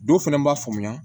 Dɔw fɛnɛ b'a faamuya